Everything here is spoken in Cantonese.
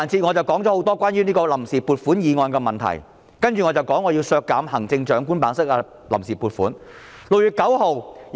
我說了很多關於臨時撥款決議案的問題，接着我要談談我削減行政長官辦公室臨時撥款的建議。